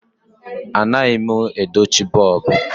Anaghị m edochi bọlbụ.